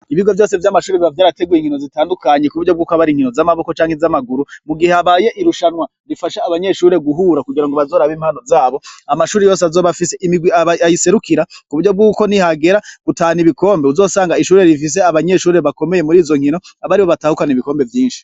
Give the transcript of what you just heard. Ibigo vyose vy'amashure biba vyarateguye inkino zitadukanye kuburyo haba har'inkino z'amaboko canke z'amaguru mugihe habaye irushanwa rifasha abanyeshure guhura kugira ngo bazorabe impano zabo amashure yose azoba afise imirwi ayiserukira kuburyo nihagera gutahukana ibikombe uwuzosanga ishure rifise abanyeshure bakomeye murizo nkino aribo batahukana ibikombe vyinshi.